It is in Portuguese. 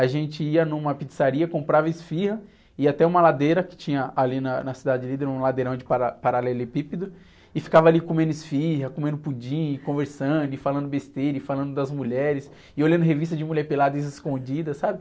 A gente ia numa pizzaria, comprava esfirra, ia até uma ladeira que tinha ali na, na Cidade Líder, um ladeirão de para, paralelepípedo, e ficava ali comendo esfirra, comendo pudim, conversando, falando besteira, falando das mulheres, e olhando revista de mulher peladas e escondidas, sabe?